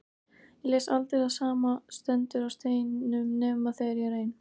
Ég les aldrei það sem stendur á steinum nema þegar ég er ein.